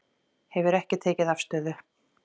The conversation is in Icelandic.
Hefur ekki tekið afstöðu